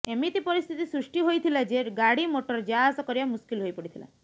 ଏମିତି ପରିସ୍ଥିତି ସୃଷ୍ଟି ହୋଇଥିଲା ଯେ ଗାଡ଼ିମୋଟର ଯାଆସ କରିବା ମୁସ୍କିଲ ହୋଇ ପଡ଼ିଥିଲା